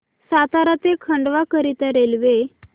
सातारा ते खंडवा करीता रेल्वे